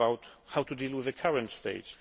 it is about how to deal with the current state.